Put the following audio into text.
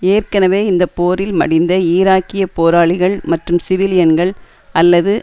ஏற்கனவே இந்த போரில் மடிந்த ஈராக்கிய போராளிகள் மற்றும் சிவிலியன்கள் அல்லது